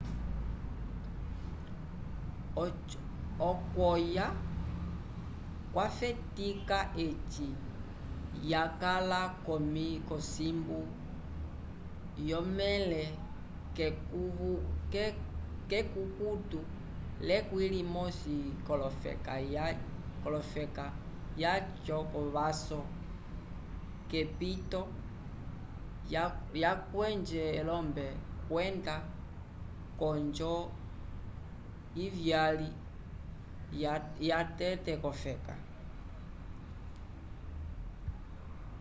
okwoya kwafetica eci yakala conimbu yomele kekukutu lekwĩ limosi yokofeka yaco covaso yepito yacweje elombe kwenda konjo ivyali yatete cofeka